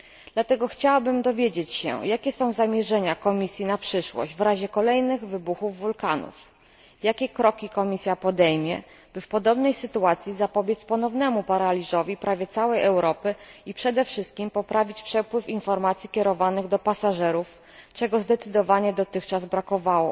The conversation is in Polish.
Dlatego chciałabym dowiedzieć się, jakie są zamierzenia Komisji na przyszłość w razie kolejnych wybuchów wulkanów. Jakie kroki Komisja podejmie, by w podobnej sytuacji zapobiec ponownemu paraliżowi prawie całej Europy i przede wszystkim by poprawić przepływ informacji kierowanych do pasażerów, czego zdecydowanie dotychczas brakowało?